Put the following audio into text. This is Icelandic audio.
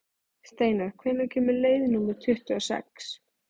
Steinar, hvenær kemur leið númer tuttugu og sex?